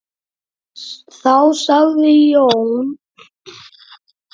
Þá sagði Jón